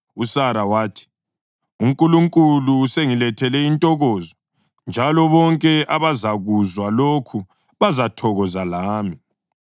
USara wathi, “UNkulunkulu usengilethele intokozo, njalo bonke abazakuzwa lokhu bazathokoza lami.”